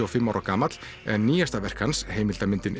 og fimm ára gamall en nýjasta verk hans heimildarmyndin